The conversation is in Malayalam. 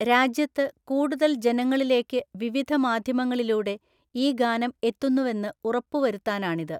രാജ്യത്ത് കൂടുതൽ ജനങ്ങളിലേക്ക് വിവിധ മാധ്യമങ്ങളിലൂടെ ഈ ഗാനം എത്തുന്നുമെന്ന് ഉറപ്പുവരുത്താനാണിത്.